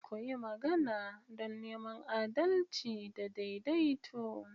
Ku yi magana don neman adalci da daidaito.